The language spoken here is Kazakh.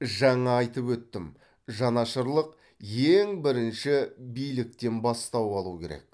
жаңа айтып өттім жанашырлық ең бірінші биліктен бастау алу керек